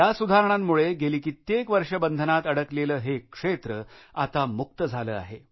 या सुधारणांमुळे गेली कित्येक वर्षे बंधनात अडकलेले हे क्षेत्र आता मुक्त झाले आहे